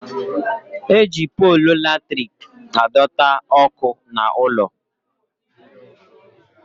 Eji polu latrik adọta ọkụ n'ụlọ